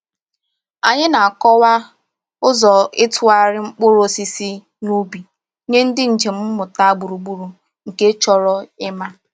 Anyị na-akọwa ụzọ ịtụgharị mkpụrụ osisi n’ubi nye ndị njem mmụta gburugburu nke chọrọ ịma.